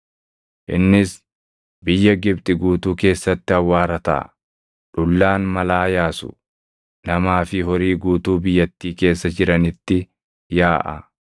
Innis biyya Gibxi guutuu keessatti awwaara taʼa; dhullaan malaa yaasu namaa fi horii guutuu biyyattii keessa jiranitti yaaʼa.”